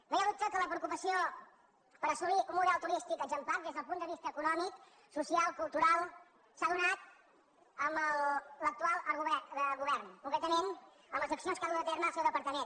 no hi ha dubte que la preocupació per assolir un model turístic exemplar des del punt de vista econòmic social cultural s’ha donat amb l’actual govern concretament amb les accions que ha dut a terme el seu departament